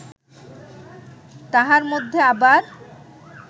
তাহার মধ্যে আবার